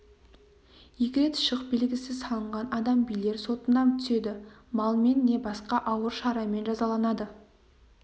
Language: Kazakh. екі рет шық белгісі салынған адам билер сотына түседі малмен не басқа ауыр шарамен жазаланады